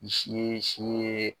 ye.